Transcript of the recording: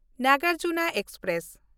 Nagarjuna express